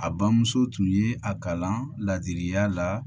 A bamuso tun ye a kalan laadiriya la